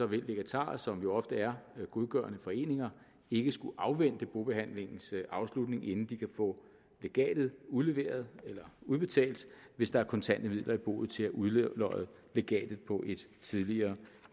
vil legatarer som jo ofte er godgørende foreninger ikke skulle afvente bobehandlingens afslutning inden de kan få legatet udleveret eller udbetalt hvis der er kontante midler i boet til at udlodde legatet på et tidligere